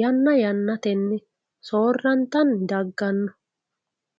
yana yanatenni soorantanni dagano